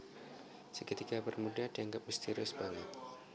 Segitiga bermuda dianggep misterius banget